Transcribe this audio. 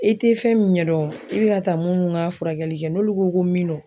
E te fɛn mun ɲɛdɔn i be ka taa munnu k'a furakɛli kɛ n'olu ko ko min don